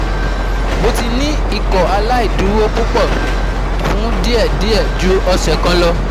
Mo ti ni Ikọaláìdúró pupọ fun diẹ diẹ ju ọsẹ kan lọ